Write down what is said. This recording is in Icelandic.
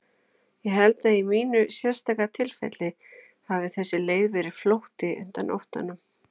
Ég held að í mínu sérstaka tilfelli hafi þessi leið verið flótti undan óttanum.